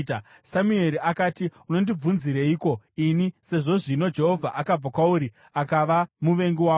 Samueri akati, “Unondibvunzireiko ini, sezvo zvino Jehovha akabva kwauri akava muvengi wako?